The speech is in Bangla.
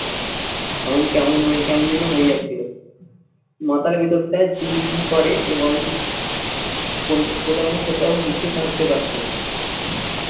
মন কেমন হয় কেমন যেন হয়ে যাচ্ছিল। মাথার ভেতরটায় ঝিন চুন করে এবং কোথাও না কোথাও মুছিয়ে থাকতে পারত না